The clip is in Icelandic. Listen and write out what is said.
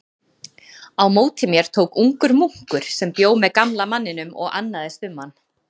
Á móti mér tók ungur munkur sem bjó með gamla manninum og annaðist um hann.